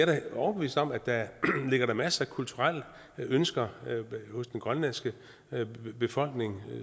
da overbevist om at der ligger masser af kulturelle ønsker hos den grønlandske befolkning